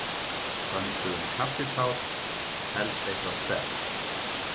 Pöntuðum kaffitár, helst eitthvað sterkt.